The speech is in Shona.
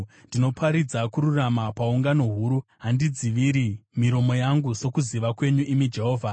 Ndinoparidza kururama paungano huru; handidziviri miromo yangu, sokuziva kwenyu, imi Jehovha.